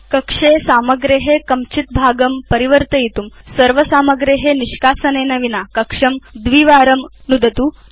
कक्षे सामग्रे कञ्चित् भागं परिवर्तयितुं सर्व सामग्रे निष्कासनेन विना कक्षं केवलं द्विवारं नुदतु